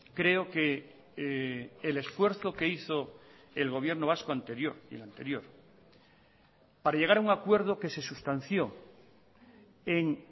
creo que el esfuerzo que hizo el gobierno vasco anterior y el anterior para llegar a un acuerdo que se sustanció en